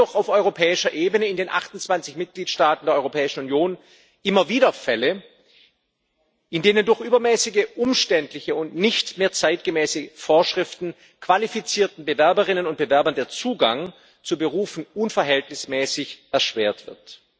Es gibt jedoch auf europäischer Ebene in den 28 Mitgliedstaaten der Europäischen Union immer wieder Fälle, in denen durch übermäßige, umständliche und nicht mehr zeitgemäße Vorschriften qualifizierten Bewerberinnen und Bewerbern der Zugang zu Berufen unverhältnismäßig erschwert wird.